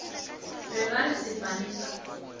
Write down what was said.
be ba re sefane sa